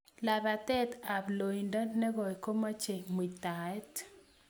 lapatet ap loindo nekoi komochei muitaet